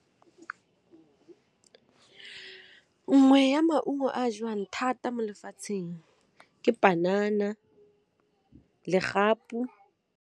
Nngwe ya maungo a jewang thata mo lefatsheng ke panana, legapu.